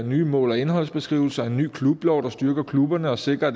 nye mål og indholdsbeskrivelser en ny klublov der styrker klubberne og sikrer at